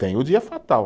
Tem o dia fatal.